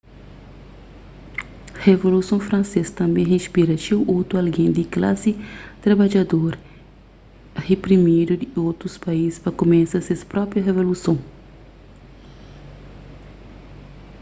revoluson fransês tanbê inspira txeu otu algen di klasi trabadjador riprimidu di otus país pa kumesa ses própi revoluson